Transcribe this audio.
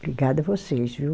Obrigada a vocês, viu?